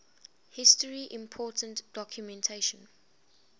history important documentation